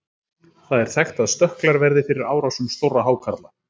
það er þekkt að stökklar verði fyrir árásum stórra hákarla